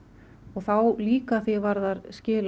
þá líka að því er varðar skil